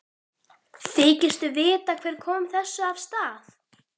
Þykistu vita hver kom þessu af stað?